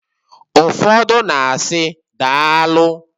Ụfọdụ na-asi, "Daalụ!"